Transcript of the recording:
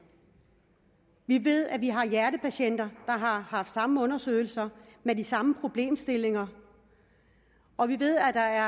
vi ved at vi har hjertepatienter har haft samme undersøgelser med de samme problemstillinger og vi ved at